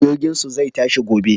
Jirginsu zai tashi gobe.